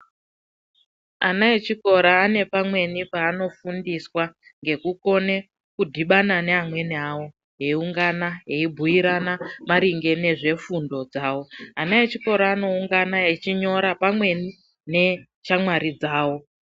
Ana echikora ane pamweni paano fundiswa ngeku kone kudhibana ne amweni awo eyi ungana eyi bhuirana maringe nezve fundo dzavo ana echikora ano ungana echinyora pamweni ne shamwari dzavo.